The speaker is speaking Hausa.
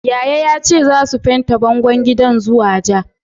Yaya yace zasu fente bangon gidan zuwa ja.